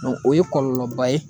o ye kɔlɔlɔba ye